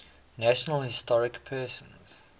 national historic persons